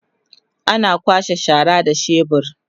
ana kwasha shara da shebur